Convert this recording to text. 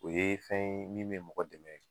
O ye fɛn ye min me mɔgɔ dɛmɛ